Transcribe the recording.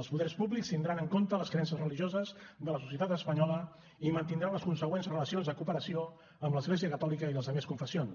els poders públics tindran en compte les creences religioses de la societat espanyola i mantindran les consegüents relacions de cooperació amb l’església catòlica i les altres confessions